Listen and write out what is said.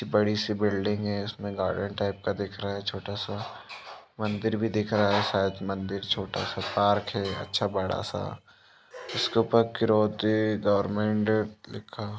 एक बड़ी सी बिल्डिंग है उसमे गार्डन टाइप का दिख रहा है छोटा सा मंदिर भी दिख रहा है शायद मंदिर छोटा सा पार्क है अच्छा बड़ा सा इसके उप्पर किरोती गर्मेंट लिखा--